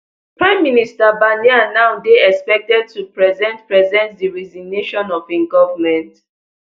prime minister barnier now dey expected to present present di resignation of im govment